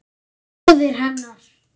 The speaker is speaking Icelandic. Það var móðir hennar.